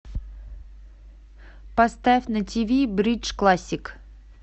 поставь на тв бридж классик